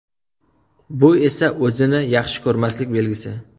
Bu esa o‘zini yaxshi ko‘rmaslik belgisi.